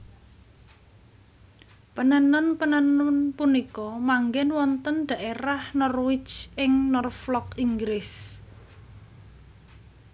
Penenun penenun punika manggèn wonten dhaérah Norwich ing Norflok Inggris